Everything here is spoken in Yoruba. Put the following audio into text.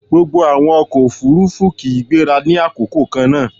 Gbogbo àwọn ọkọ̀-òfurufú kì í gbéra ní àkókò kannáà